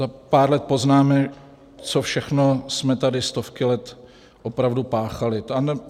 Za pár let poznáme, co všechno jsme tady stovky let opravdu páchali.